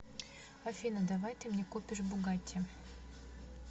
афина давай ты мне купишь бугатти